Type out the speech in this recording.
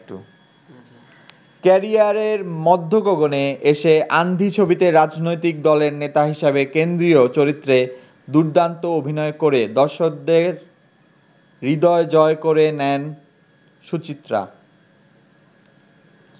ক্যারিয়ারের মধ্যগগণে এসে ‘আন্ধি’ ছবিতে রাজনৈতিক দলের নেতা হিসেবে কেন্দ্রীয় চরিত্রে দুর্দান্ত অভিনয় করে দর্শকদের হৃদয় জয় করে নেন সুচিত্রা।